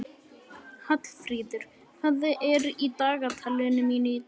Hallfríður, hvað er í dagatalinu mínu í dag?